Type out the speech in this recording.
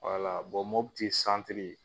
Mopti